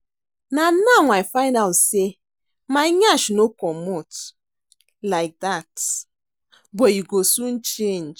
Na now I find out sey my nyash no comot like dat but e go soon change